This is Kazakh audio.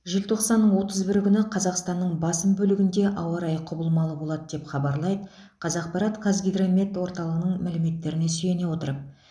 желтоқсанның отыз бірі күні қазақстанның басым бөлігінде ауа райы құбылмалы болады деп хабарлайды қазақпарат қазгидромет орталығының мәліметтеріне сүйене отырып